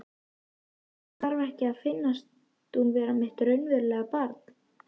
Mér þarf ekki að finnast hún vera mitt raunverulega barn.